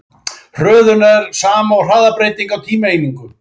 Hröðun er sama og hraðabreyting á tímaeiningu.